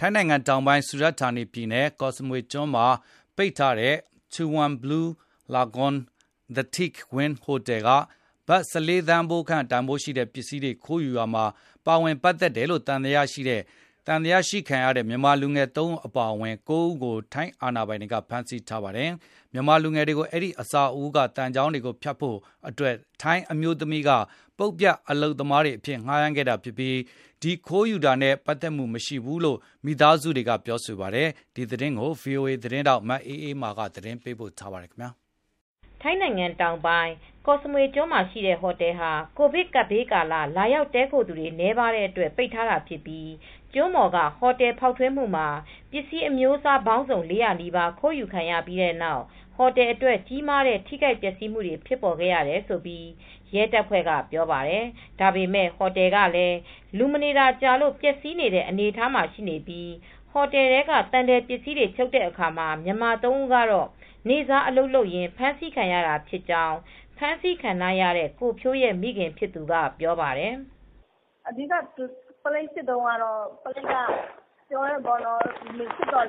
ထိုင်းနိုင်ငံတောင်ပိုင်း စူရတ်ဌာနီပြည်နယ် ကော့စမွေကျွန်းမှာရှိတဲ့ ပိတ်ထားတဲ့ Chaweng Blue Lagoon The Teak Wing ဟိုတယ်က ဘတ် ၁၄ သန်းခန့်တန်ဖိုးရှိတဲ့ ပစ္စည်းတွေ ခိုးယူရာမှာ ပါဝင် ပတ်သက်တယ်လို့ သံသယရှိတဲ့ မြန်မာလူငယ် ၃ ဦးအပါအဝင် လူ ၉ ဦးကို ထိုင်းအာဏာပိုင်တွေက ဖမ်းဆီးပြီး အကျဉ်းထောင်ထဲ ပို့ထားပါတယ်။ မြန်မာလူငယ်တွေကို အဲဒီအဆောက်အဦးက သံချောင်းတွေကို ဖြတ်ဖို့အတွက် ထိုင်းအမျိုးသမီးတဦးက ပုတ်ပြတ်အလုပ်သမားတွေ အဖြစ်ငှားရမ်းခဲ့တာဖြစ်ပြီး ဒီလိုခိုးယူတာနဲ့ ပတ်သက်မှု မရှိဘူးလို့လည်း မိသားစုတွေက ဆိုပါတယ်။ ဒီသတင်းကို ဗွီအိုအေ သတင်းထောက် မအေးအေးမာက သတင်းပေးပို့ ထားပါတယ်။ ထိုင်းနိုင်ငံတောင်ပိုင်း ကော့စမွေကျွန်းမှာ ရှိတဲ့ ဟိုတယ်ဟာ ကိုဗစ်ကာလ လာရောက်တည်းခိုသူတွေ နည်းတဲ့အတွက် ပိတ်ထားတာဖြစ်ပြီး ကျွန်းပေါ်က ဟိုတယ်ဖောက်ထွင်းမှုမှာ ပစ္စည်းအမျိုးအစား ပေါင်းစုံ ၄၀၀ နီးပါး ခိုးယူခံရပြီး ဟိုတယ်အတွက် ကြီးမားတဲ့ ထိခိုက်ပျက်စီးမှုတွေ ဖြစ်ပေါ်ခဲ့တယ်လို့ ရဲတွေက ပြောပါတယ်။ ဒါပေမယ့် ဟိုတယ်ကလည်း လူမနေတာကြာလို့ ပျက်စီးနေတဲ့ အနေအထားမှာရှိပြီး ဟိုတယ်က သံထည်ပစ္စည်းတွေ ဖြုတ်တဲ့အခါမှာ မြန်မာ ၃ ဦးကတော့ နေ့စား အလုပ်လုပ်ရင်း ဖမ်းဆီးခံရတာဖြစ်ကြောင်း ဖမ်းဆီးခံထားရတဲ့ ကိုဖြိုးရဲ့ မိခင်ဖြစ်သူ ပြောပြပါတယ်။ “ အဓိက ပုလိပ်စစ်တုန်းကတော့ ပုလိပ်ကပြောတယ် စစ်တော့ က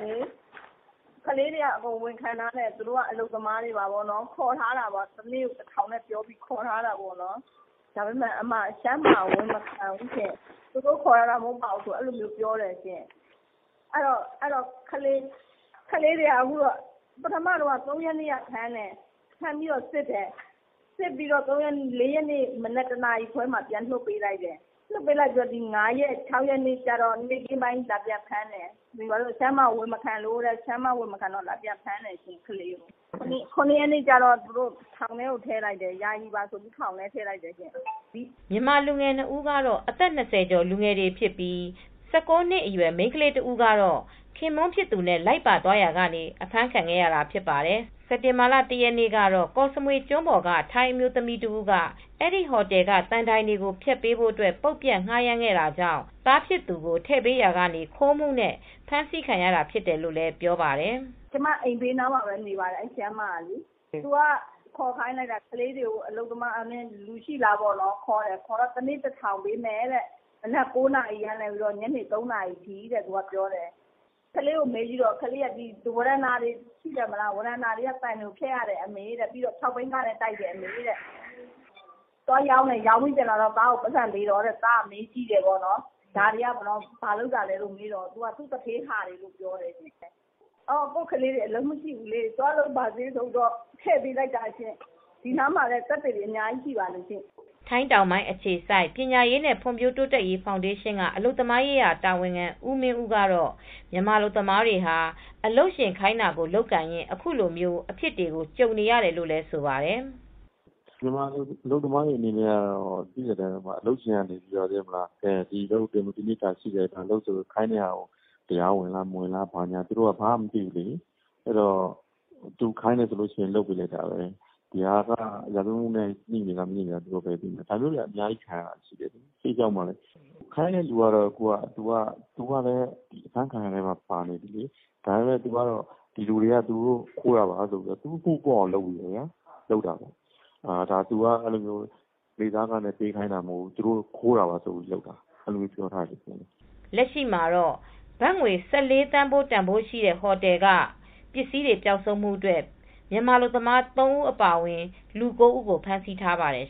လေးတွေဝန်ခံတယ်။ သူတို့က အလုပ်သမားတွေသာ ဖြစ်တယ်။ တနေ့ ၁,၀၀၀ ပေးပြီးခေါ်ထားတာဖြစ်တယ်လို့ ပြောကြတယ်။ ဒါပေမယ့် ရှမ်းမ (ထိုင်းမ) က ဝန်မခံဘူး ဖြစ်နေတယ်။ သူတို့ ခေါ်ထားတာ မဟုတ်ပါဘူးလို့ ပြောတယ်။ ကလေးတွေက ၃ရက်နေ့က ဖမ်းတယ်။ ဖမ်းပြီး စစ်တယ်။ ၄ ရက်နေ့ မနက် တနာရီခွဲမှာ ပြန်လွှတ်ပေးလိုက်တယ်။ ဒီ ၅ ရက်နေ့နဲ့ ၆ ရက်နေ့မှာ လာပြန်ဖမ်းတယ်။ ရှမ်းမက ဝန်မခံလို့ ဆိုပြီး လာပြန်ဖမ်းတယ်။ ၇ ရက်နေ့ ကျတော့ ယာယီပါ ဆိုပြီး ထောင်ထဲ ထည့်လိုက်တယ်။ ” မြန်မာလူငယ်တွေ ၂ ဦးကတော့ အသက် ၂၀ ကျော် လူငယ်တွေဖြစ်ပြီး ၁၉ နှစ်အရွယ် မိန်းကလေး တဦးကတော့ သူခင်ပွန်းဖြစ်သူနဲ့ လိုက်ပါသွားရာကနေ အဖမ်းခံခဲ့ရတာ ဖြစ်ပါတယ်။ စက်တင်ဘာလ ၁ ရက်နေ့ ကတော့ ကော့စမွေကျွန်းပေါ်က ထိုင်းအမျိုးသမီးတဦးက အဲဒီဟိုတယ်က သံတိုင်တွေကို ဖျက်ပေးဖို့ ပုတ်ပြတ်ငှားရမ်းခဲ့တာကြောင့် သားဖြစ်သူကို ထည့်ပေးလိုက်ရာကနေ ခိုးမှုနဲ့ ဖမ်းဆီးတာခံရတယ်လို့ ပြောပါတယ်။ “ အဲဒီရှမ်းမက ကျမအိမ်နားမှာပဲနေပါတယ်။ သူကခေါ်ခိုင်းလိုက်တာ။ လူရှိလား တနေ့ကို ၁,၀၀၀ ပေးမယ်။ မနက် ၉ နာရီကနေ ည ၃ နာရီ ထိ အလုပ်လုပ်ရမယ်။ ကလေးကို မေးကြည့်တော့ ဝရန်တာက သံတိုင်တွေကိုဖြတ်ရတယ်။ ပြီးတော့ ၆ ဘီးကားနဲ့ တိုက်ရတယ်။ ပြီးတော့ သွားရောင်းတယ်။ ရောင်းပြီး ပြန်လာတော့ သားကို ပိုက်ဆံပေးတယ်။ သားကမေးကြည့်တော့ သူ့ သူဌေးဟာလို့ပဲပြောတယ်။ ကိုယ့်ကလေးတွေ အလုပ်မရှိဘူးဆိုပြီး တည့်ပေးလိုက်တာပါရှင်။ ဒီနားမှာလည်း သက်သေတွေ အများကြီး ရှိပါတယ်။ ” ထိုင်းတောင်ပိုင်း အခြေစိုက် ပညာရေးနဲ့ ဖွံံ့ဖြိုးတိုးတက်ရေး ဖောင်ဒေးရှင်က အလုပ်သမားရေးရာ တာဝန်ခံ ဦးမင်းဦးကတော့ မြန်မာအလုပ်သမားတွေဟာ အလုပ်ရှင်ခိုင်းတာ လုပ်ကိုင်ရင်း အခုလိုအဖြစ်တွေကို ကြုံနေရတယ်လို့ ဆိုပါတယ်။ “ မြန်မာအလုပ်သမားတွေ အနေနဲ့ အလုပ်ရှင်က ဒီအလုပ်ကို လုပ်ဆိုရင် တရားဝင် မဝင်ဘူးလား မသိဘူးလေ သူခိုင်းတယ်ဆိုရင် လုပ်ပေးလိုက်တာပဲ။ ဒါက ရာဇဝတ်မှုနဲ့ ငြိနေလား မငြိဘူးလား မသိဘူးလေ။ ဒါမျိုးတွေ ခံနေရတာ။ ခိုင်းတဲ့သူက အဖမ်းခံရတဲ့အထဲမှာ ပါနေတယ်။ ဒီလူတွေက ခိုးတာပါဆိုပြီး သူ အမှုပေါ့အောင် လုပ်နေတယ်။ ဒီလူတွေ နေ့စားခိုင်းတာလို့ မပြောဘူး။ သူတို့ ဘာသာ ခိုးတာ ဆိုပြီး လုပ်နေတာ။ ” လက်ရှိမှတော့ ဘတ် ၁၄ သန်းဖိုး တန်ဖိုးရှိတဲ့ ဟိုတယ်က ပစ္စည်းတွေ ပျောက်ဆုံးမှု အတွက် မြန်မာအလုပ်သမား ၃ ဦး အပါအဝင် လူ ၉ ဦးကို ဖမ်းဆီးထားပါတယ်